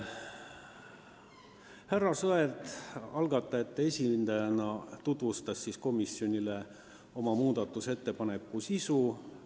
Härra Sõerd algatajate esindajana tutvustas komisjonile oma muudatusettepaneku sisu.